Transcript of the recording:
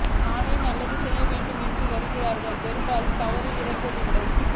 தானே நல்லது செய்ய வேண்டும் என்று வருகிறவர்களிடம் பெரும்பாலும் தவறுகள் இருப்பதில்லை